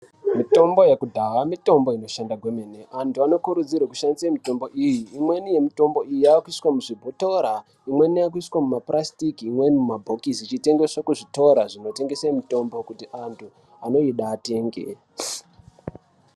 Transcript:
Mitombo yekudhaa mitombo inoshanda kwemene. Antu anokurudzirwe kushandise mitombo iyi. Imweni yemitombo iyi yaakuiswa muzvibhotora, imweni yaakuiswe mapurasitiki imweni mumabhokisi ichitengeswa kuzvitora zvinotengese mitombo kuti antu anoida atenge.